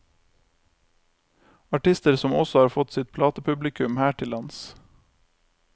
Artister som også har fått sitt platepublikum her til lands.